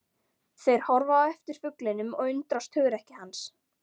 Þeir horfa á eftir fuglinum og undrast hugrekki hans.